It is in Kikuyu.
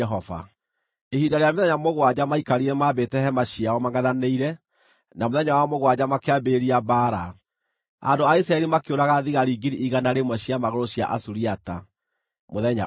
Ihinda rĩa mĩthenya mũgwanja maikarire mambĩte hema ciao mangʼethanĩire, na mũthenya wa mũgwanja makĩambĩrĩria mbaara. Andũ a Isiraeli makĩũraga thigari 100,000 cia magũrũ cia Asuriata, mũthenya ũmwe.